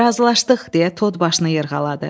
Razılaşdıq, deyə Tod başını yırğaladı.